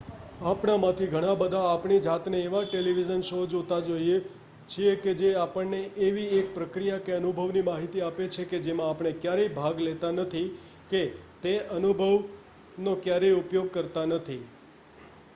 આપણામાંથી ઘણા બધા આપણી જાતને એવા ટેલીવિઝન શો જોતા જોઈએ છીએ કે જે આપણને એવી એક પ્રક્રિયા કે અનુભવની માહિતી આપે છે કે જેમાં આપણે ક્યારેય ભાગ લેતા નથી કે તે અનુભવનો ક્યારેય ઉપયોગ કરતા નથી